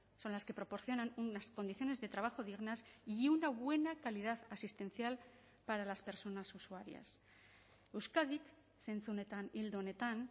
son las que proporcionan unas condiciones de trabajo dignas y una buena calidad asistencial para las personas usuarias euskadik zentzu honetan ildo honetan